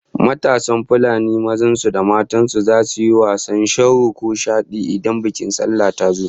Matasan Fulanin mazan su da matan su zasu yi wasannin sharo ko shadi idan bikin sallah ta zo